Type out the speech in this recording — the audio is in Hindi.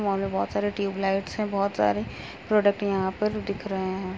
इस मॉल में बहुत सारे ट्यूबलाइट्स हैं बहुत सारे प्रोडक्ट यहाँ पर दिख रहे हैं।